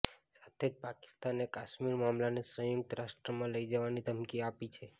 સાથે જ પાકિસ્તાને કાશ્મીર મામલાને સંયુક્ત રાષ્ટ્રમાં લઈ જવાની ધમકી આપી છે